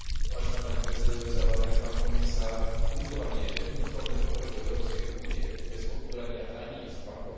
Fungovanie vnútorného trhu Európskej únie bez odbúrania hraníc v bankovom sektore by bolo iste problematické.